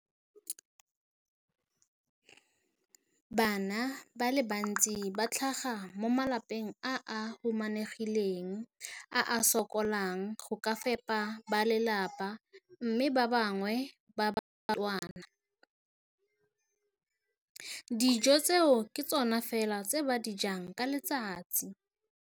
Bana ba le bantsi ba tlhaga mo malapeng a a humanegileng a a sokolang go ka fepa ba lelapa mme ba bangwe ba barutwana, dijo tseo ke tsona fela tse ba di jang ka letsatsi.